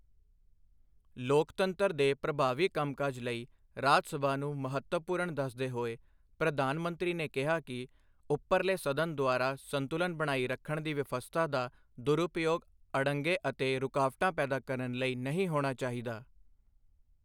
ਲੋਕਤੰਤਰ ਦੇ ਪ੍ਰਭਾਵੀ ਕੰਮਕਾਜ ਲਈ ਰਾਜ ਸਭਾ ਨੂੰ ਮਹੱਤਵਪੂਰਨ ਦੱਸਦੇ ਹੋਏ ਪ੍ਰਧਾਨ ਮੰਤਰੀ ਨੇ ਕਿਹਾ ਕਿ ਉੱਪਰਲੇ ਸਦਨ ਦੁਆਰਾ ਸੰਤੁਲਨ ਬਣਾਈ ਰੱਖਣ ਦੀ ਵਿਵਸਥਾ ਦਾ ਦੁਰਉਪਯੋਗ ਅੜੰਗੇ ਅਤੇ ਰੁਕਾਵਟਾਂ ਪੈਦਾ ਕਰਨ ਲਈ ਨਹੀਂ ਹੋਣਾ ਚਾਹੀਦਾ।